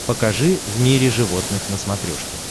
покажи в мире животных на смотрешке